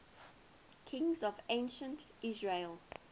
kings of ancient israel